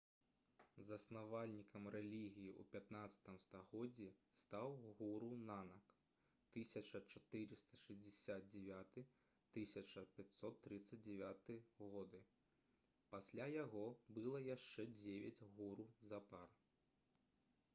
заснавальнікам рэлігіі ў 15 стагоддзі стаў гуру нанак 1469—1539 гг.. пасля яго было яшчэ дзевяць гуру запар